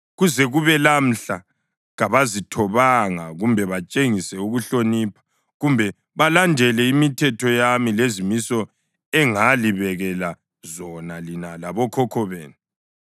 Kuze kube lamhla kabazithobanga kumbe batshengise ukuhlonipha, kumbe balandele imithetho yami lezimiso engalibekela zona lina labokhokho benu.